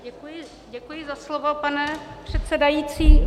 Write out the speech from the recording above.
Děkuji za slovo, pane předsedající.